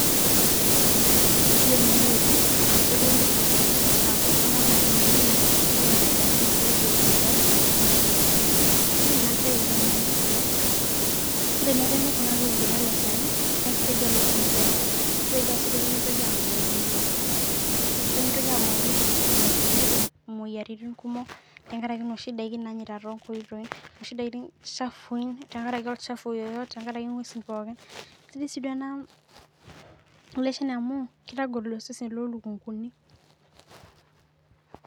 Eyiolo enewueji naa ketii elukunguni nidolita oldakitarii eishopito gloves Neeta osindano kisidai ena siai oleng amu teneremi elukunguni ele Shani naa kisaidia elukunguni pee ebulu kisaidia sii pee mitoki amuoi netum moyiaritin tenkaraki noshi daiki chafui tenkaraki olchafu sidai sii ele Shani amu kotagol osesen loo lukunguni